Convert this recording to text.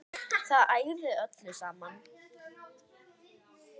Það ægði öllu saman